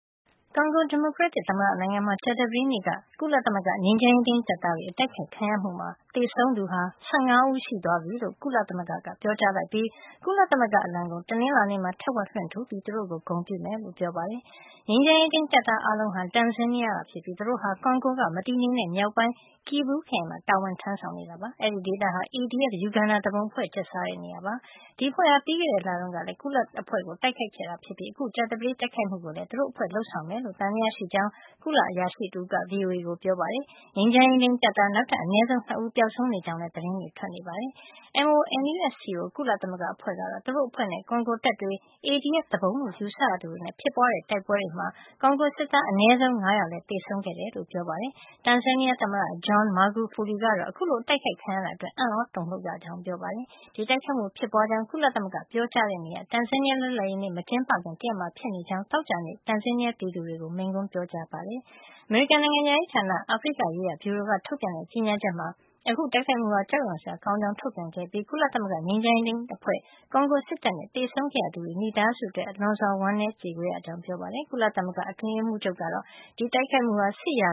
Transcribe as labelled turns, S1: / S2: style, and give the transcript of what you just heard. S1: ကွန်ဂို ဒီမိုကရက်တစ် သမ္မတ နိုင်ငံမှာ ကြာသပတေးနေ့က ကုလသမဂ္ဂ ငြိမ်းချမ်းရေးထိမ်း တပ်သားတွေ အတိုက်ခိုက်ခံရမှုမှာ သေဆုံးသူဟာ ၁၅ ဦိး ရှိသွားပြီလို့ ကုလသမဂ္ဂ ကပြောကြားလိုက်ပြီး ကုလသမဂ္ဂ အလံကို တနင်္လာနေ့မှာ ထက်ဝက်လွှင့်ထူပြီး သူတို့ ကို ဂုဏ်ပြုမယ်လို့ ပြောပါတယ်။ ငြိမ်းချမ်းရေထိမ်း တပ်သား အားလုံးဟာ တန်ဇီးနီးယားက ဖြစ်ပြီး သူတို့ဟာ ကွန်ဂိုက မတည်ငြိမ်တဲ့ မြောက်ပိုင်း Kivu ခရိုင်မှာ တာဝန် ထမ်းဆောင် နေကြတာ ဖြစ်ပါတယ်။ အဲဒီဒေသဟာ ADF ယူဂန်ဒါသူပုန်အဖွဲ့ ကျက်စားတဲ့ နေရာ ဖြစ်ပါတယ်။ ဒီအဖွဲ့ဟာ ပြီးခဲ့တဲ့ လတုန်းကလည်း ကုလအဖွဲ့ကို တိုက်ခိုက်ခဲ့တတာ ဖြစ်ပြီး အခု ကြာသပတေး တိုက်ခိုက်မှုကိုလည်း သူတို့အဖွဲ့က လုပ်ဆောင်မယ်လို့ သံသယ ရှိကြောင်း ကုလသမဂ္ဂ အရာရှိတဦးက VOA ကို ပြောပါတယ်။ ငြိမ်းချမ်းရေးထိမ်း တပ်သား နောက်ထပ် အနည်းဆုံး ၂ ဦးပျောက်ဆုံးနေကြောင်းလည်း သတင်းတွေ ထွက်နေပါတယ်။ MONUSCO ကုလသမဂ္ဂ အဖွဲ့ကတော့ သူတို့အဖွဲ့နဲ့ ကွန်ဂိုတပ်တွေ ADF သူပုန်လို့ ယူဆရသူတွေနဲ့ ဖြစ်ပွါးတဲ့ တိုက်ပွဲမှာ ကွန်ဂိုစစ်သား အနည်းဆုံး ၅ ယောက်လည်း သေဆုံးခဲ့တယ်လို့ ပြောပါတယ်။ တန်ဇီးနီးယား သမ္မတ John Magufuli ကတော့ အခုလို အတိုက်ခိုက်ခံရတာအတွက် အံ့သြ တုန်လှုပ်ရကြောင်း ပြောပါတယ်။ ဒီတိုက်ခိုက်မှု ဖြစ်ပွါးကြောင်း ကုလသမဂ္ဂက ပြောကြားခဲ့တဲ့ နေ့ဟာ တန်ဇီးနီးယား လွတ်လပ်ရေးနေ့ မကျင်းပခင် တရက်မှာ ဖြစ်နေကြောင်း သောကြာနေ့ တန်ဇီးနီးယား ပြည်သူတွေကို မိန့်ခွန်း ပြောကြားခဲ့တာပါ။ အမေရိကန် နိုင်ငံခြားရေးဌာန အာဖရိကရေးရာဗျူရိုက ထုတ်ပြန်တဲ့ ကြေညာချက် မှာတော့ အခုတိုက်ခိုက်မှုဟာ ကြောက်ရွံ့စရာ ကောင်းကြောင်း ထုတ်ပြန်ခဲ့ပြီး ကုလသမဂ္ဂ ငြိမ်းချမ်းရေးထိမ်းအဖွဲ့၊ ကွန်ဂိုစစ်တပ်နဲ့ သေဆုံးခဲ့ရသူတွေရဲ့ မိသားစုဝင်တွေအတွက် လွန်စွာ ဝမ်းနည်းကြေကွဲရပါကြောင်း ပြောကြားခဲ့ပါတယ်။ ကုလသမဂ္ဂ အတွင်းရေးမှူးချုပ် António Guterres ကတော့ ဒီတိုက်ခိုက်မှုဟာ စစ်ရာ